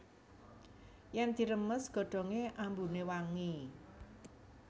Yèn diremes godhongé ambuné wangi